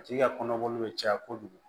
A tigi ka kɔnɔboli bɛ caya kojugu